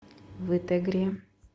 вытегре